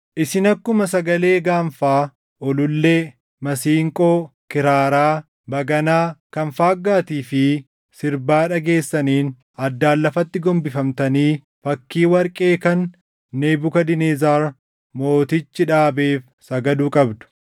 Isin akkuma sagalee gaanfaa, ulullee, masiinqoo, kiraaraa, baganaa, kan faaggaatii fi sirbaa dhageessaniin addaan lafatti gombifamtanii fakkii warqee kan Nebukadnezar Mootichi dhaabeef sagaduu qabdu.